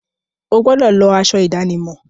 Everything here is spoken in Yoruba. O gbúdọ̀ lọ aṣọ ìdánimọ̀!